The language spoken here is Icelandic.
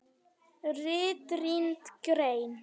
RITRÝND GREIN